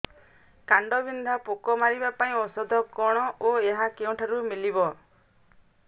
କାଣ୍ଡବିନ୍ଧା ପୋକ ମାରିବା ପାଇଁ ଔଷଧ କଣ ଓ ଏହା କେଉଁଠାରୁ ମିଳିବ